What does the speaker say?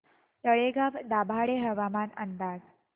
तळेगाव दाभाडे हवामान अंदाज